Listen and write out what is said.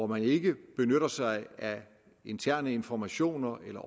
man ikke benytter sig af interne informationer eller